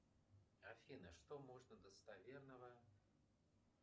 афина что можно достоверного